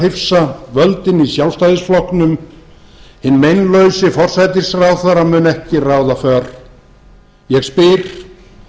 hrifsa völdin í sjálfstæðisflokknum hinn meinlausi forsætisráðherra mun ekki ráða för ég spyr